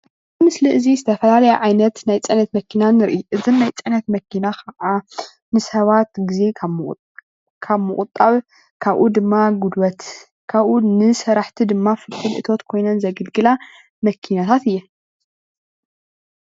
እዚ ምስሊ እዚ ዝተፈላለዩ ዓይነት ናይ ፅዕነት መኪና ንርኢ፡፡ እዘን ናይ ፅዕነት መኪና ከዓ ንሰባት ግዜ ካብ ምቁጣብ ካብኡ ድማ ጉልበት ካብኡ ንሰራሕቲ ድማ ፍልፍል እቶት ኮይነን ዘግልግላ መኪናታት እየን፡፡